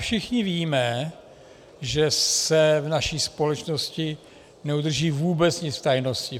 Všichni víme, že se v naší společnosti neudrží vůbec nic v tajnosti.